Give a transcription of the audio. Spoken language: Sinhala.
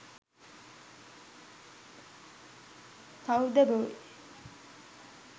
cow the boy